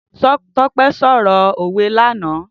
Tope sọrọ ówé làná